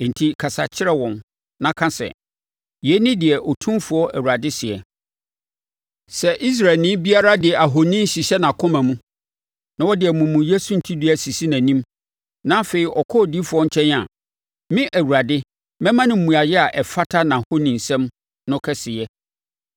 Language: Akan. Enti kasa kyerɛ wɔn na ka sɛ, ‘Yei ne deɛ Otumfoɔ Awurade seɛ: Sɛ Israelni biara de ahoni hyehyɛ nʼakoma mu na ɔde amumuyɛ suntidua sisi nʼanim, na afei ɔkɔ odiyifoɔ nkyɛn a, me Awurade, mɛma no mmuaeɛ a ɛfata nʼahonisom no kɛseyɛ.